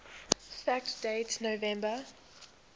fact date november